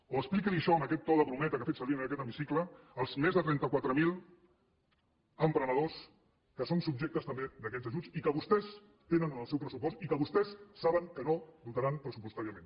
o expliqui això amb aquest to de brometa que ha fet servir en aquest hemicicle als més trenta quatre mil emprenedors que són subjectes també d’aquests ajuts i que vostès tenen en el seu pressupost i que vostès saben que no dotaran pressupostàriament